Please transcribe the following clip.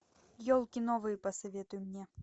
елки новые посоветуй мне